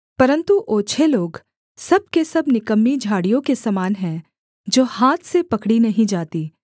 परन्तु ओछे लोग सब के सब निकम्मी झाड़ियों के समान हैं जो हाथ से पकड़ी नहीं जातीं